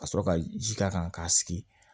Ka sɔrɔ ka ji k'a kan k'a sigi